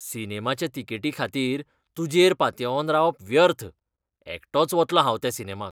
सिनेमाच्या तिकेटीखातीर तुजेर पातयेवन रावप व्यर्थ, एकटोच वतलों हांव त्या सिनेमाक .